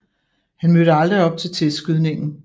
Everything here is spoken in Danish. Han mødte aldrig op til testskydningen